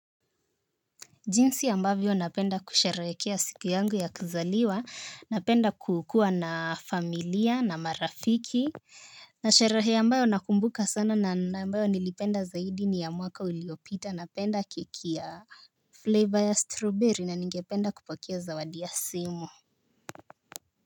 Jinsi ambavyo napenda kusherehekea siku yangu ya kuzaliwa napenda kukuwa na familia na marafiki. Na shareholder ambayo nakumbuka sana na ambayo nilipenda zaidi ni ya mwaka uliopita napenda keki ya Flavor ya strawberry na ningependa kupokea zawadi ya simu.